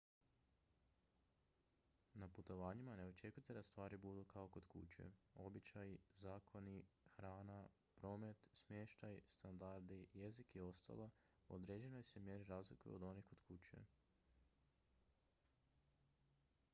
na putovanjima ne očekujte da stvari budu kao kod kuće običaji zakoni hrana promet smještaj standardi jezik i ostalo u određenoj se mjeri razlikuju od onih kod kuće